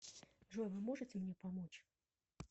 джой вы можете мне помочь